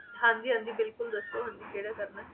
ਹਾਂ ਜੀ ਹਾਂ ਜੀ ਬਿਲਕੁਲ ਦੱਸੋ ਹਾਂਜੀ ਕਿਹੜਾ ਕਰਨਾ ਹੈ